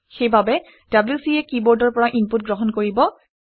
সেইবাবে wc এ কিবৰ্ডৰ পৰা ইনপুট গ্ৰহণ কৰিব